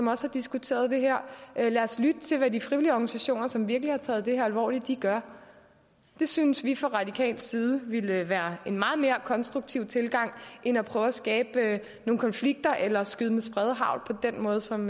har diskuteret det her lad os lytte til hvad de frivillige organisationer som virkelig har taget det her alvorligt gør det synes vi fra radikal side ville være en meget mere konstruktiv tilgang end at prøve at skabe nogle konflikter eller skyde med spredehagl på den måde som